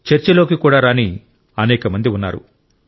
చర్చలోకి కూడా రాని అనేకమంది ఉన్నారు